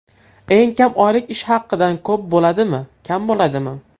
Eng kam oylik ish haqidan ko‘p bo‘ladimi, kam bo‘ladimi?